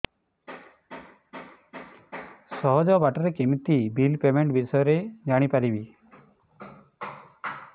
ସହଜ ବାଟ ରେ କେମିତି ବିଲ୍ ପେମେଣ୍ଟ ବିଷୟ ରେ ଜାଣି ପାରିବି